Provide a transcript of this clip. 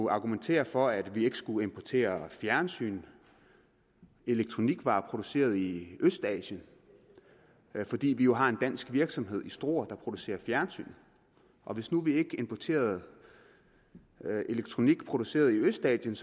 argumentere for at vi ikke skulle importere fjernsyn elektronikvarer produceret i østasien fordi vi jo har en dansk virksomhed i struer der producerer fjernsyn og hvis nu vi ikke importerede elektronik produceret i østasien